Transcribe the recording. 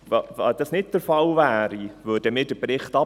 Falls das nicht der Fall sein sollte, lehnen wir den Bericht ab.